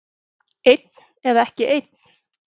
Einn eða ekki einn.